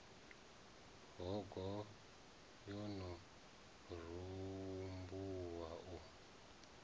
hogo yo no rembuluwa u